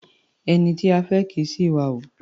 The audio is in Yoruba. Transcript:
Ẹni tí a fẹ́ kì í ṣi ìwà hù.